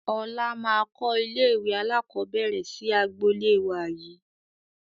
Ọlá máa kọ ilé ìwé alakọ̀bẹ́ẹ́rẹ̀ sì agboolé wá yii